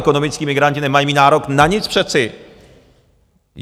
Ekonomičtí migranti nemají mít nárok na nic, přece.